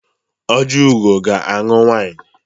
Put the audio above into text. Ojiugo ga-aṅụ wịnụ.